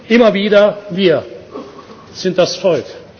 immer wieder Wir sind das Volk!.